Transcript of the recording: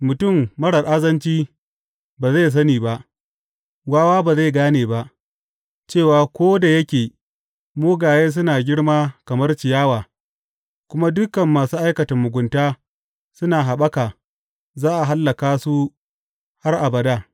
Mutum marar azanci ba zai sani ba, wawa ba zai gane ba, cewa ko da yake mugaye suna girma kamar ciyawa kuma dukan masu aikata mugunta suna haɓaka, za a hallaka su har abada.